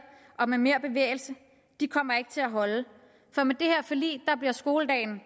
og med mere bevægelse kommer ikke til at holde for med det her forlig bliver skoledagen